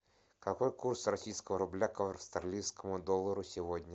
какой курс российского рубля к австралийскому доллару сегодня